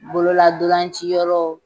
Bololadolanci yɔrɔ